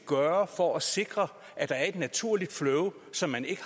gøre for at sikre at der er et naturligt flow som man ikke